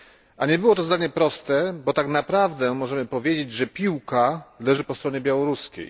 A nie było to zadanie proste, bo tak naprawdę możemy powiedzieć, że piłka leży po stronie białoruskiej.